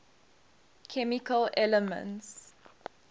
chemical elements